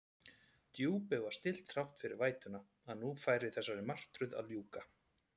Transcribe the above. Djúpið var stillt þrátt fyrir vætuna, að nú færi þessari martröð að ljúka.